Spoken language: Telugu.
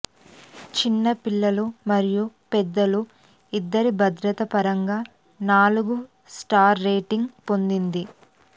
చిన్న పిల్లలు మరియు పెద్దలు ఇద్దరి భద్రత పరంగా నాలుగు స్టార్ల రేటింగ్ పొందింది